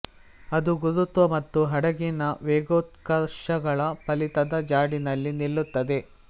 ಅದು ಗುರುತ್ವ ಮತ್ತು ಹಡಗಿನ ವೇಗೋತ್ಕರ್ಷಗಳ ಫಲಿತದ ಜಾಡಿನಲ್ಲಿ ನಿಲ್ಲುತ್ತದೆ